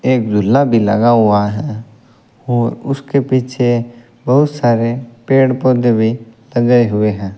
एक झूला भी लगा हुआ है और उसके पीछे बहुत सारे पेड़ पौधे भी लगाए हुए हैं।